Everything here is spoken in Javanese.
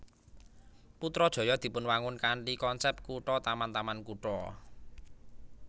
Putrajaya dipunwangun kanthi konsep kutha taman taman kutha